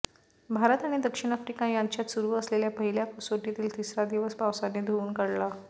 भारत आणि दक्षिण आफ्रिका यांच्यात सुरु असलेल्या पहिल्या कसोटीतील तिसरा दिवस पावसाने धुऊन काढला